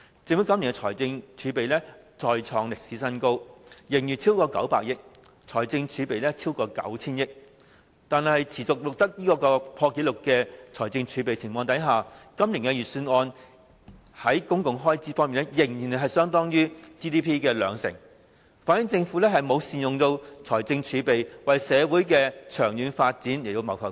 政府今年的財政儲備再創歷史新高，盈餘超過900億元，財政儲備超過 9,000 億元，但在財政儲備持續破紀錄的情況下，今年預算案作出的公共開支預算仍然只佔 GDP 的兩成，反映政府沒有善用財政儲備，為社會的長遠發展謀幸福。